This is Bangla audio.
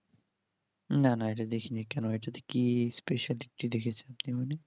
না না ইটা দেখিনি কেমন ইটা কি কিসের দিক থেকে দেখেছো